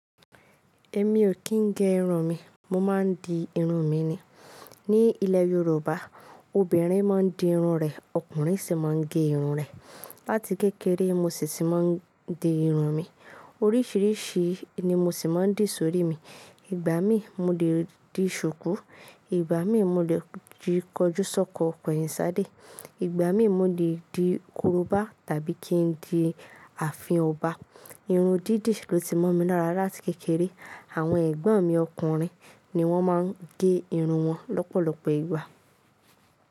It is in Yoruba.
Èmi o kín gẹ irun mi, mo máa ń di irun mi ni. Ni ilẹ̀ Yorùbá obìnrin máa ń di irun rẹ̀, ọkùnrin sì máa ń gẹ irun rẹ̀. Láti kékeré mo sì tì máa ń di irun mi. Oríṣìríṣi ni mo sì máa ń dì sórí mi. Ìgbà mí mo lè di ṣùkú, ìgbà mí mo lè di kọjú sọ́kọ̀ ko ẹ̀yìn sádé, ìgbà mí mo lè di korobá tàbí kí n di ààfin ọba. Irun dídì ló ti mọ́ mi lára láti kékeré. Àwọn ẹ̀gbọ́n mi ọkùnrin ni wọ́n máa ń gẹ irun wọn lọ́pọ̀lọpọ̀ ìgbà.